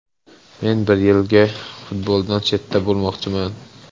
Men bir yilga futboldan chetda bo‘lmoqchiman.